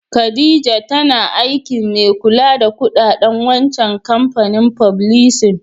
Khadijah tana aikin mai kulla da kudaden wancan kampanin fublisin.